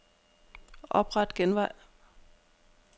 Opret genvej.